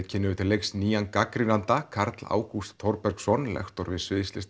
kynnum við til leiks nýjan gagnrýnanda Karl Ágúst Þorbergsson lektor við